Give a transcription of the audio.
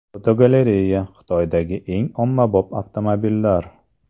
Fotogalereya: Xitoydagi eng ommabop avtomobillar.